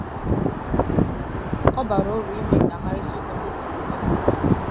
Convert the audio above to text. ọ bara ụrụ ime ka a mara isiokwu ndị dị mkpa dị ka nke a.